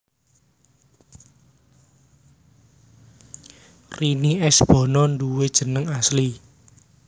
Rini S Bono duwé jeneng asli